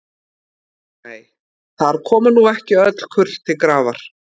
Nei, þar koma nú ekki öll kurl til grafar.